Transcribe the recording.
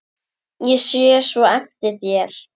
Ég sé svo eftir þér.